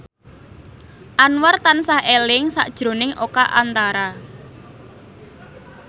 Anwar tansah eling sakjroning Oka Antara